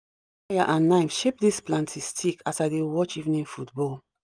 i use fire and knife shape this planting stick as i dey watch evening football